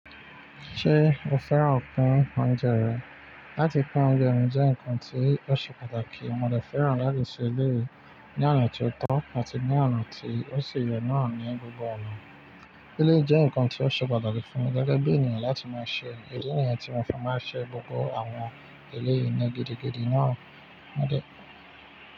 Ṣé o fẹ́ràn kà ń kán ọ̀unjẹ rẹ? Láti kán ọ̀unjẹ ní jẹ́ ǹkan tí ó ṣe pàtàkì. Mo dẹ fẹ́ràn láti ṣe eléyìí ní ọ̀nà tí ó tán àti ní ọ̀nà tí ó ṣe ye naa ní gbogbo ọ̀nà. Eléyìí jẹ́ ǹkan tí ó ṣe pàtàkì fún mi gẹ́gẹ́ bí ènìyàn láti máa ṣe. Idí nìyẹn tí mo fẹ́ máa ṣe gbogbo àwọn eléyìí ní gidigidi náà.